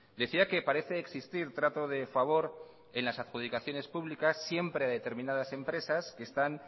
decía que parece existir trato de favor en las adjudicaciones públicas siempre de determinadas empresas que están